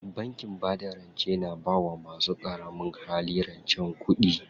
Bankin bada rance na bawa masu ƙaramin hali rancen kuɗi.